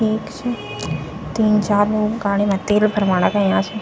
ठीक च तीन चार लोग गाड़ी मा तेल भरवाणा गयां छ।